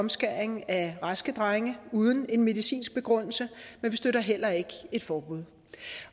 omskæring af raske drenge uden en medicinsk begrundelse men vi støtter heller ikke et forbud